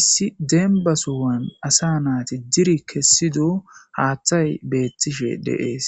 issi dembba sohan asa naati diri kessido haaththay beettishe de'ees.